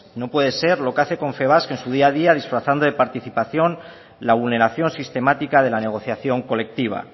no puede ser lo que hace confebask en su día a día disfrazando de participación la vulneración sistemática de la negociación colectiva